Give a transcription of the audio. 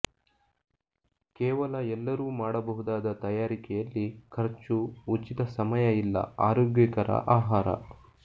ಕೇವಲ ಎಲ್ಲರೂ ಮಾಡಬಹುದಾದ ತಯಾರಿಕೆಯಲ್ಲಿ ಖರ್ಚು ಉಚಿತ ಸಮಯ ಇಲ್ಲ ಆರೋಗ್ಯಕರ ಆಹಾರ